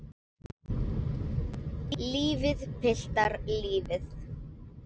Lífið, piltar, lífið.